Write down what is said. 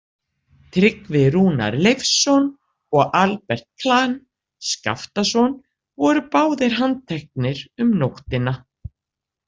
Tryggvi Rúnar Leifsson og Albert Klahn Skaftason voru báðir handteknir um nóttina.